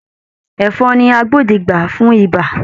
Ẹ̀fọn ni agbódegbà fún ibà